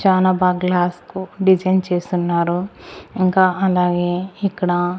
చానా బాగా గ్లాస్ కో డిజైన్ చేస్తున్నారు ఇంకా అలాగే ఇక్కడ.